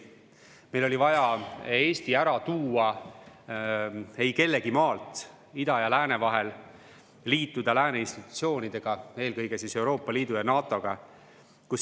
Meil oli vaja Eesti ära tuua eikellegimaalt ida ja lääne vahel, liituda lääne institutsioonidega, eelkõige Euroopa Liidu ja NATO-ga.